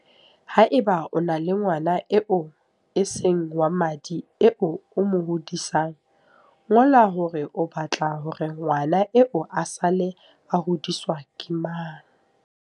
Haeba o na le ngwana eo e seng wa madi eo o mo hodisang, ngola hore o ba tla hore ngwana eo a sale a hodiswa ke mang.